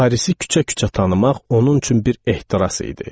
Parisi küçə-küçə tanımaq onun üçün bir ehtiras idi.